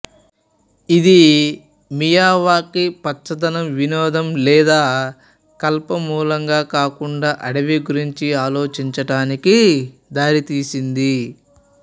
ఇది మియావాకి పచ్చదనం వినోదం లేదా కలప మూలంగా కాకుండా అడవి గురించి ఆలోచించటానికి దారితీసింది